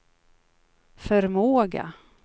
förmåga